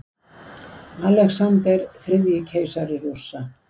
Alexander þriðji, keisari Rússa.